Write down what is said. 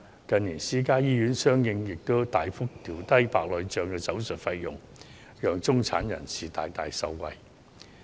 近年私營醫院相應大幅調低白內障手術的費用，讓中產人士大大受惠。